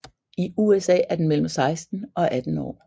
I USA er den mellem 16 og 18 år